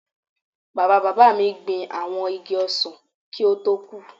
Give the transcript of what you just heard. Bàbáa bàbá mi gbin àwọn igi ọsàn kí ó tó kú